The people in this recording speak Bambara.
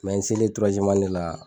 n selen la.